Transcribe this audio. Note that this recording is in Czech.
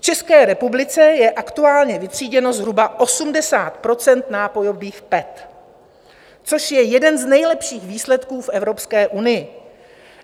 V České republice je aktuálně vytříděno zhruba 80 % nápojových PET, což je jeden z nejlepších výsledků v Evropské unii.